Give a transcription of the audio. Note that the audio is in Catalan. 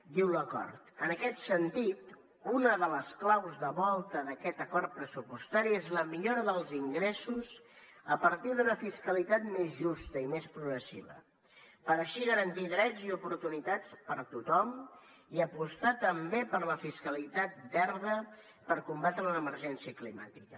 diu l’acord en aquest sentit una de les claus de volta d’aquest acord pressupostari és la millora dels ingressos a partir d’una fiscalitat més justa i més progressiva per així garantir drets i oportunitats per a tothom i apostar també per la fiscalitat verda per combatre l’emergència climàtica